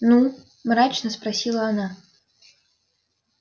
ну мрачно спросила она